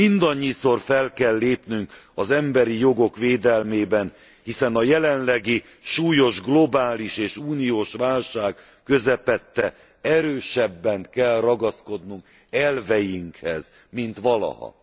Mindannyiszor fel kell lépnünk az emberi jogok védelmében, hiszen a jelenlegi súlyos globális és uniós válság közepette erősebben kell ragaszkodnunk elveinkhez, mint valaha.